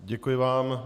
Děkuji vám.